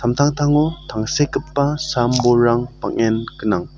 amtangtango tangsekgipa sam-bolrang bang·en gnang.